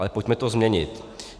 Ale pojďme to změnit.